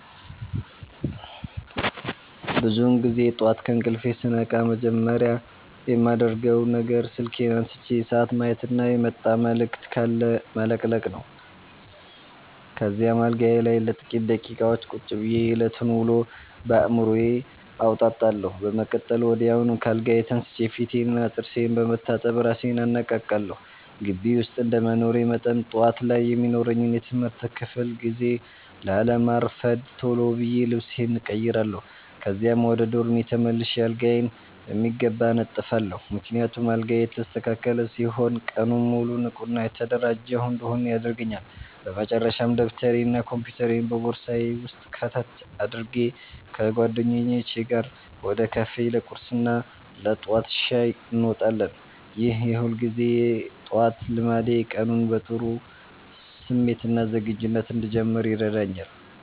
ብዙውን ጊዜ ጠዋት ከእንቅልፌ ስነቃ መጀመሪያ የማደርገው ነገር ስልኬን አንስቼ ሰዓት ማየትና የመጣ መልዕክት ካለ መለቅለቅ ነው። ከዚያም አልጋዬ ላይ ለጥቂት ደቂቃዎች ቁጭ ብዬ የዕለቱን ውሎ በአዕምሮዬ አወጣጣለሁ። በመቀጠል ወዲያውኑ ከአልጋዬ ተነስቼ ፊቴንና ጥርሴን በመታጠብ እራሴን አነቃቃለሁ። ግቢ ውስጥ እንደመኖሬ መጠን፣ ጠዋት ላይ የሚኖረኝን የትምህርት ክፍለ ጊዜ ላለማርፈድ ቶሎ ብዬ ልብሴን እቀይራለሁ። ከዚያም ወደ ዶርሜ ተመልሼ አልጋዬን በሚገባ አነጥፋለሁ፤ ምክንያቱም አልጋዬ የተስተካከለ ሲሆን ቀኑን ሙሉ ንቁና የተደራጀሁ እንድሆን ያደርገኛል። በመጨረሻም ደብተሬንና ኮምፒውተሬን በቦርሳዬ ውስጥ ከተት አድርጌ፣ ከጓደኞቼ ጋር ወደ ካፌ ለቁርስና ለጠዋት ሻይ እንወጣለን። ይህ የሁልጊዜ ጠዋት ልማዴ ቀኑን በጥሩ ስሜትና ዝግጁነት እንድጀምር ይረዳኛል።